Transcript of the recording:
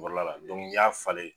Kɔrɔla la n'i y'a falen